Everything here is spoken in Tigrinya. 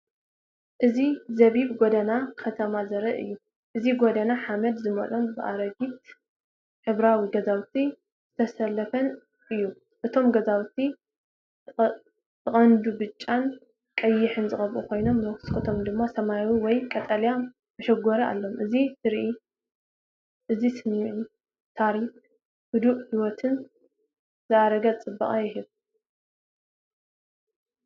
እዚ ጸቢብ ጎደና ከተማ ዘርኢ እዩ። እቲ ጎደና ሓመድ ዝመልኦን ብኣረጊትን ሕብራዊ ገዛውቲ ዝተሰለፈን እዩ። እቶም ገዛውቲ ብቐንዱ ብጫን ቀይሕን ዝተቐብኡ ኮይኖም፡ መስኮቶም ድማ ሰማያዊ ወይ ቀጠልያ መሸጎሪ ኣለዎም። እዚ ትርኢት እዚ ስምዒት ታሪኽ፡ህዱእ ህይወትን ዝኣረገ ጽባቐን ይህብ።